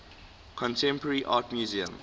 contemporary art museum